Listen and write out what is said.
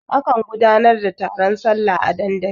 A kan gudanar da taron sallah a dandali.